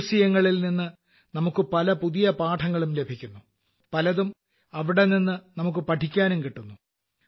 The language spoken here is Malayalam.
മ്യൂസിയങ്ങളിൽ നിന്ന് നമുക്ക് പല പുതിയ പാഠങ്ങളും ലഭിക്കുന്നു പലതും അവിടെനിന്നും നമുക്ക് പഠിക്കാനും കിട്ടുന്നു